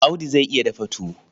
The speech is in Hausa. Audu zai iya dafa tuwo.